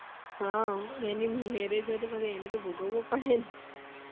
હા એની marriage હોય તો પછી અને તો ભોગવું પડે ને